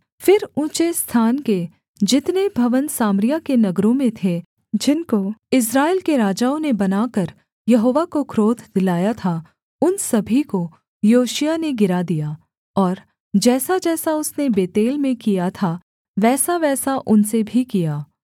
फिर ऊँचे स्थान के जितने भवन सामरिया के नगरों में थे जिनको इस्राएल के राजाओं ने बनाकर यहोवा को क्रोध दिलाया था उन सभी को योशिय्याह ने गिरा दिया और जैसाजैसा उसने बेतेल में किया था वैसावैसा उनसे भी किया